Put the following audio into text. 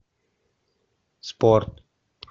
спорт